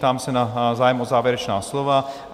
Ptám se na zájem o závěrečná slova?